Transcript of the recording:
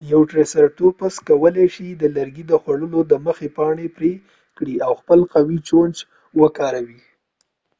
یو ټریسرټوپس کولی شي د لرګي خوړلو دمخه پاڼري پري کړي او خپل قوي چونچ وکاروي